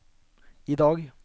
idag